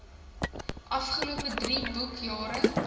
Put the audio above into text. afgelope drie boekjare